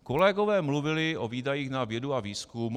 Kolegové mluvili o výdajích na vědu a výzkum.